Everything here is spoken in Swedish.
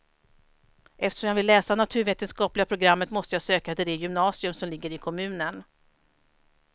Eftersom jag ville läsa naturvetenskapliga programmet måste jag söka till det gymnasium som ligger i kommunen.